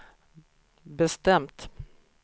bestämt